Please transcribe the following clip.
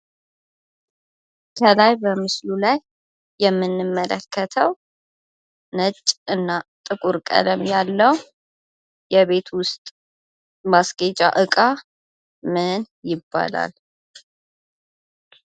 ከላይ በምስሉ ላይ የምንመለከተው ነጭ እና ጥቁር ቀለም ያለው የቤት ውስጥ ማስጌጫ እቃ ምን ይባላል?